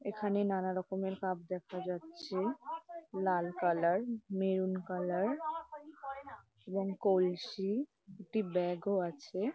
এখানে নানা রকমের কাপ দেখা যাচ্ছে লাল কালার মেরুন কালার এবং কলসি একটি ব্যাগ ও আছে।